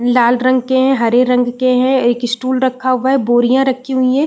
लाल रंग के हैं हरे रंग के हैं एक स्टूल रखा हुआ है बोरियां रखी हुई हैं।